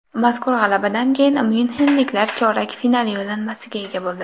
Mazkur g‘alabadan keyin myunxenliklar chorak final yo‘llanmasiga ega bo‘ldi.